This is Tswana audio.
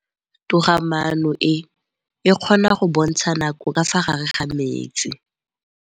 Toga-maanô e, e kgona go bontsha nakô ka fa gare ga metsi.